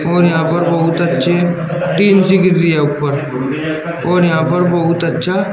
और यहां पर बहुत अच्छी टीन सी गिर रही है ऊपर और यहां पर बहुत अच्छा--